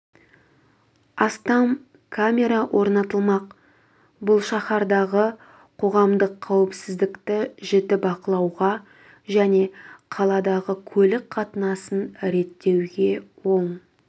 астам камера орнатылмақ бұл шаһардағы қоғамдық қауіпсіздікті жіті бақылауға және қаладағы көлік қатынасын реттеуге оң